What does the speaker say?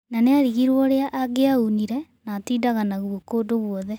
No niarigirwo ũrĩa angiaunire na atindaga naguo kũndũ gwothe.